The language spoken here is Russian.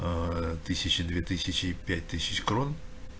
аа тысяча две тысячи и пять тысяч крон